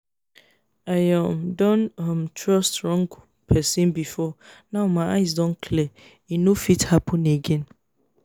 i um don um trust wrong person before now my eyes don clear e no fit happen again